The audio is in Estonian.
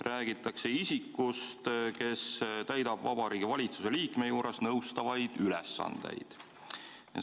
Räägitakse isikust, kes täidab Vabariigi Valitsuse liikme juures nõustavaid ülesandeid.